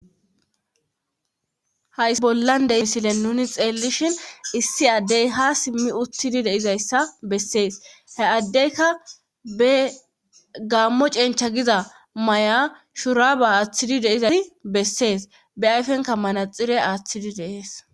Hayssa bollan de7iya misile nuni xeellishin issi addey ha simmi uttidi deizayssa bessees he addeyka be gaammo cencha giza may7a shuraba aaththidi deizasi bessees be ayfenka manaxire aaththidi de7ees.